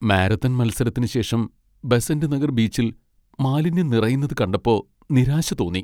Marathon മത്സരത്തിന് ശേഷം ബെസന്റ് നഗർ ബീച്ചിൽ മാലിന്യം നിറയുന്നത് കണ്ടപ്പോ നിരാശ തോന്നി.